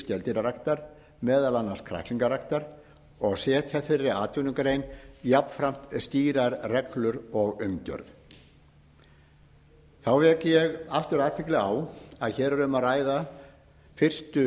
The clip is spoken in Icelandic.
skeldýraræktar meðal annars kræklingaræktar og setja þeirri atvinnugrein jafnframt skýrar reglur og umgjörð þá vek ég aftur athygli á að hér er um að ræða fyrstu